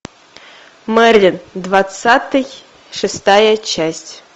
мерлин двадцатый шестая часть